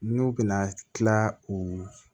N'u bɛna tila u